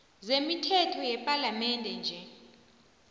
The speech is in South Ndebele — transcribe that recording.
zemithetho yepalamende nje